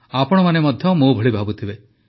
ଆପଣମାନେ ମଧ୍ୟ ମୋ ଭଳି ଭାବୁଥିବେ